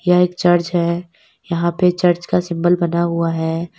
यह एक चर्च है यहां पे चर्च का सिंबल बना हुआ है।